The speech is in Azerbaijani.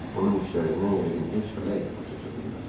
Onun işlərindən yəqin heç fələk də baş aça bilməzdi.